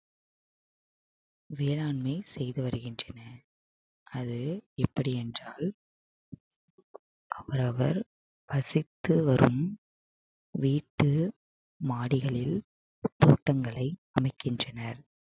வேளாண்மை செய்து வருகின்றனர் அது எப்படி என்றால் அவரவர் வசித்து வரும் வீட்டு மாடிகளில் தோட்டங்களை அமைக்கின்றனர்